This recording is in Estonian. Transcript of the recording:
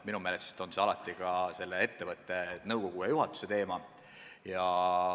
Minu meelest on see siiski konkreetse ettevõtte nõukogu ja juhatuse teema.